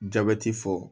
Jabɛti fɔ